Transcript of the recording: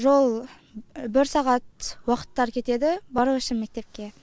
жол бір сағат уақыттары кетеді бару үшін мектепке